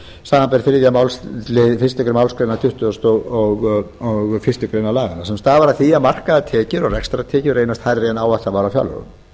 samanber þriðju málsl fyrstu málsgrein tuttugustu og fyrstu grein laganna sem stafa af því að markaðar tekjur og rekstrartekjur reynast hærri en áætlað var í fjárlögum